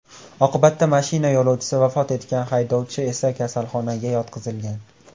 Oqibatda mashina yo‘lovchisi vafot etgan, haydovchi esa kasalxonaga yotqizilgan.